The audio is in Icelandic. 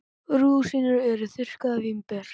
Rúsínur eru þurrkuð vínber.